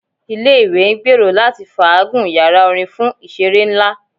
Ile-iwe ngbero lati faagun yara orin fun awọn iṣere nla